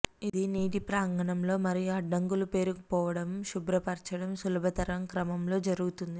ఇది నీటి ప్రాంగణంలో మరియు అడ్డంకులు పేరుకుపోవడం శుభ్రపరచడం సులభతరం క్రమంలో జరుగుతుంది